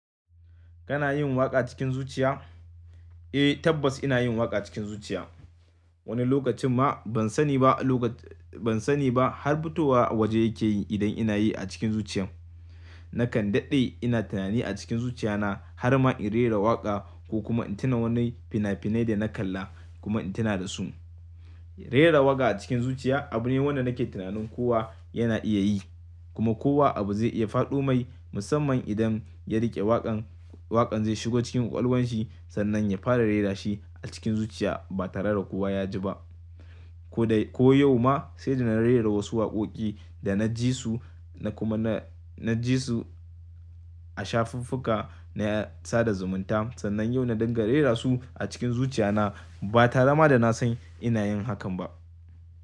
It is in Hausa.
Kana yin waƙa cikin zuciya? Eh tabbas ina yin waƙa cikin zuciya. Wani lokacin ma ban sani ba lokacin ban sani ba har fitowa waje yake yi idan inayi a cikin zuciyan. Nakan daɗe ina tunani a cikin zuciyana har ma in rera waƙa ko kuma in tuna wani fina-finai da na kalla kuma in tuna da su. Rera waƙa a cikin zuciya abu ne wanda nake tunanin kowa yana iya yi kuma kowa abu zai iya faɗo mai musamman idan ya riƙe waƙan, waƙan zai shiga cikin ƙwaƙwalwan shi sannan ya fara rera shi a cikin zuciya ba tare da kowa ya ji ba. Ko dai ko yau ma sai da na rera wasu waƙoƙi da na ji su na kuma na, na ji su a shafufuka na sada zumunta sannan yau na dinga rera su a cikin zuciyana ba tare ma da na san ina yin hakan ba.